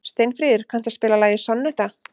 Steinfríður, kanntu að spila lagið „Sonnetta“?